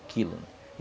O quilo, né?